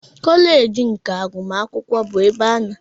Koleej of agụmakwụkwọ bụ ebe a na-azụ ndị chọrọ ịbụ ndị nkụzi.